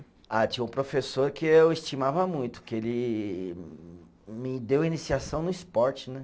Ah, tinha um professor que eu estimava muito, que ele me deu iniciação no esporte, né?